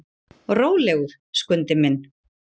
Rólegur, Skundi minn.